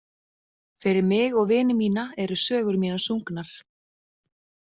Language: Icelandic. Fyrir mig og vini mína eru sögur mínar sungnar.